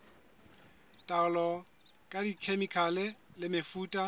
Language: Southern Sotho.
taolo ka dikhemikhale le mefuta